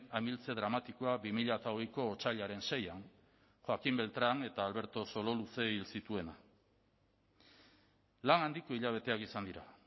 amiltze dramatikoa bi mila hogeiko otsailaren seian joaquín beltran eta alberto sololuze hil zituena lan handiko hilabeteak izan dira